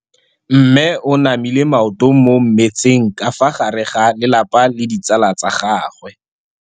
Mme o namile maoto mo mmetseng ka fa gare ga lelapa le ditsala tsa gagwe.